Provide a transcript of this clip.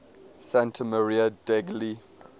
santa maria degli